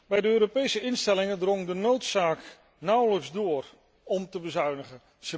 Bij de Europese instellingen drong de noodzaak nauwelijks door om te bezuinigen.